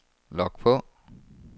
log på